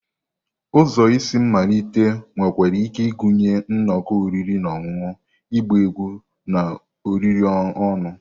Ụzọ isi mmalite nwekwara ike ịgụnye nnọkọ oriri na ọṅụṅụ, ịgba egwu, na oriri ọnụ.